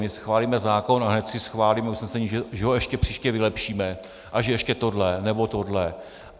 My schválíme zákon a hned si schválíme usnesení, že ho ještě příště vylepšíme a že ještě tohle, nebo tohle.